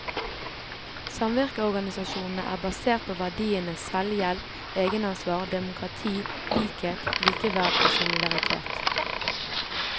Samvirkeorganisasjonene er basert på verdiene selvhjelp, egenansvar, demokrati, likhet, likeverd og solidaritet.